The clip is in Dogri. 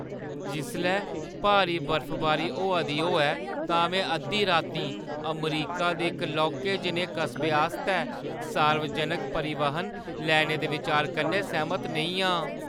जिसलै भारी बर्फबारी होआ दी होऐ तां में अद्धी रातीं अमरीका दे इक लौह्के जनेहे कस्बे आस्तै सार्वजनक परिवहन लैने दे बिचार कन्नै सैह्‌मत नेईं आं।